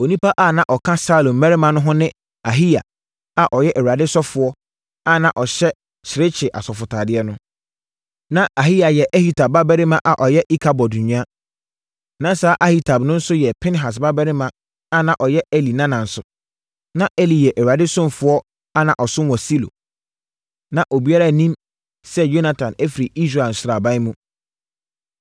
(Onipa a na ɔka Saulo mmarima no ho no ne Ahiya a ɔyɛ Awurade ɔsɔfoɔ a na ɔhyɛ serekye asɔfotadeɛ no. Na Ahiya yɛ Ahitub babarima a ɔyɛ Ikabod nua. Na saa Ahitub no nso yɛ Pinehas babarima a na ɔyɛ Eli nana nso. Na Eli yɛ Awurade ɔsɔfoɔ a na ɔsom wɔ Silo.) Na obiara nnim sɛ Yonatan afiri Israel sraban mu.